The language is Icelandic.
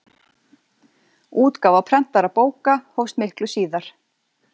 útgáfa prentaðra bóka hófst miklu síðar